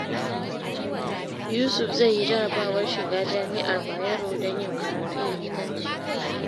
Yusuf zai yi jarrabawar shiga Jami’ar Bayero don yin karatun likitanci.